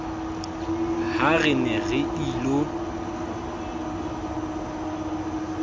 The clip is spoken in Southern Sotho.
ha re ne re ilo